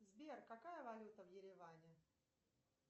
сбер какая валюта в ереване